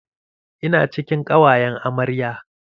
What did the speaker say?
Ina cikin ƙawayan amarya